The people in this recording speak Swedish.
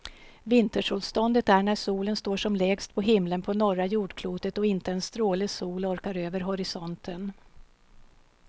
Vintersolståndet är när solen står som lägst på himlen på norra jordklotet och inte en stråle sol orkar över horisonten.